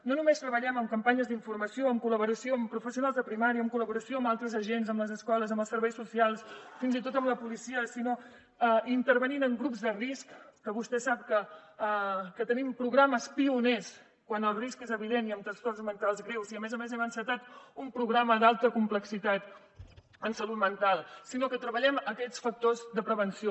no només treballem en campanyes d’informació en col·laboració amb professionals de primària en col·laboració amb altres agents amb les escoles amb els serveis socials fins i tot amb la policia sinó que intervenim en grups de risc que vostè sap que tenim programes pioners quan el risc és evident i en trastorns mentals greus i a més a més hem encetat un programa d’alta complexitat en salut mental sinó que treballem aquests factors de prevenció